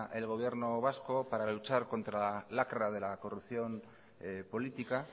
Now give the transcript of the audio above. el gobierno vasco para luchar contra la lacra de la corrupción política